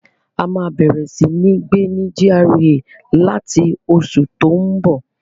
A máa bẹ̀rẹ̀ sí ní gbé ní GRA láti oṣù tó n bọ̀